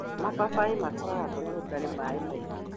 Mababaĩ makũraga kũrĩa gũtarĩ maĩ maingĩ.